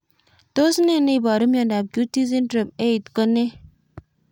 Tos ne neiparu miondop QT syndrome 8 ko nee